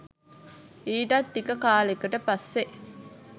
ඊටත් ටික කාලෙකට පස්සෙ